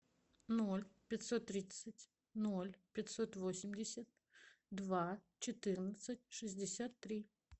ноль пятьсот тридцать ноль пятьсот восемьдесят два четырнадцать шестьдесят три